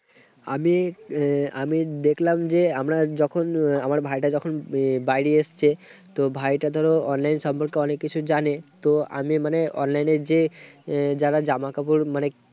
আমি আমি দেখলাম যে, আমরা যখন আমার ভাইটা যখন বাইরেই এসেছে। তো ভাইটা ধরো online সম্পর্কে অনেক কিছু জানে। তো আমি মানে online এ যেয়ে যারা জামাকাপড় মানে